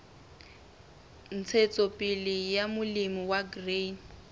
ntshetsopele ya molemi wa grain